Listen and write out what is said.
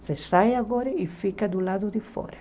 Você sai agora e fica do lado de fora.